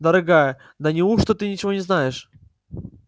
дорогая да неужто ты ничего не знаешь